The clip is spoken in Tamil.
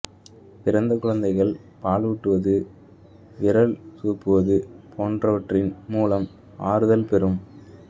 பிறந்த குழந்தைகள் பாலூட்டுவது விரல் சூப்புவது போன்றவற்றின் மூலம் ஆறுதல் பெறும்